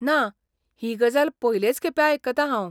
ना, ही गजाल पयलेच खेपे आयकतां हांव!